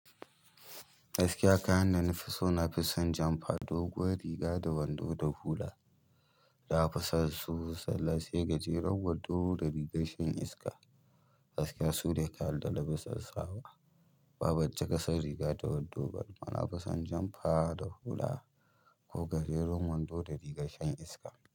Gaskiya kayan da na fi so na fi son jan fa doguwar riga da wando da hula. Da aka san su sallah sai gajeren wando da rigar shan iska. Gaskiya sune kayan dana fi son sawa, ba ban cikasan riga da wando ba mana nafisan jan fa da hula ko gajeren wando da rigar shan iska.